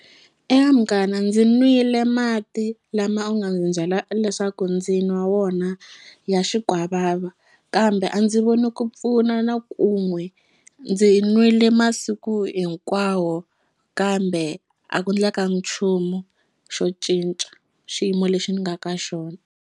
Eka munghana ndzi nwile mati lama u nga ni byela leswaku ndzi nwa wona ya xikwavava kambe a ndzi voni ku pfuna na ku n'we ndzi nwile masiku hinkwawo kambe a ku ndlekangi nchumu xo cinca xiyimo lexi ni nga ka xona.